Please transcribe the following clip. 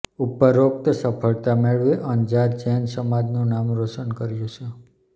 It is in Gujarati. ઉપરોકત સફળતા મેળવી અંજાર જૈન સમાજનું નામ રોશન કર્યું છે